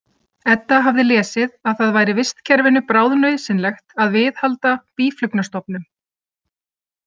Edda hafði lesið að það væri vistkerfinu bráðnauðsynlegt að viðhalda býflugnastofnum.